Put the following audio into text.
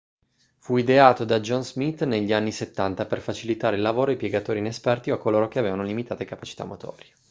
fu ideato da john smith negli anni 70 per facilitare il lavoro ai piegatori inesperti o a coloro che avevano limitate capacità motorie